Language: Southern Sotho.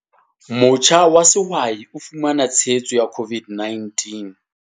Motjha wa sehwai o fumana tshehetso ya COVID-19.